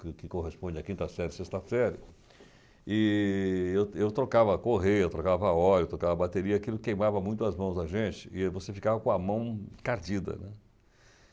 que corresponde à quinta série, sexta série, e eu eu trocava a correia, eu trocava óleo, eu trocava bateria, aquilo queimava muito as mãos da gente, e você ficava com a mão encardida, né?